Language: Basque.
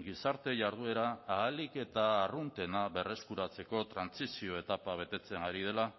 gizarte jarduera ahalik eta arruntena berreskuratzeko trantsizio etapa betetzen ari dela